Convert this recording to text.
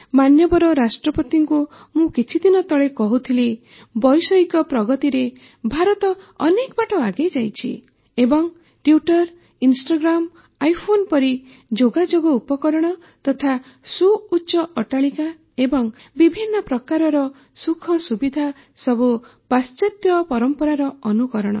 ମାନ୍ୟବର ରାଷ୍ଟ୍ରପତିଙ୍କୁ ମୁଁ କିଛିଦିନ ତଳେ କହୁଥିଲି ବୈଷୟିକ ପ୍ରଗତିରେ ଭାରତ ଅନେକ ବାଟ ଆଗେଇଯାଇଛି ଏବଂ ଟ୍ୟୁଟର ଇନଷ୍ଟାଗ୍ରାମ ଆଇଫୋନ୍ ପରି ଯୋଗାଯୋଗ ଉପକରଣ ତଥା ସୁଉଚ୍ଚ ଅଟ୍ଟାଳିକା ଏବଂ ବିଭିନ୍ନ ପ୍ରକାରର ସୁଖ ସୁବିଧା ସବୁ ପାଶ୍ଚାତ୍ୟ ପରମ୍ପରାର ଅନୁକରଣ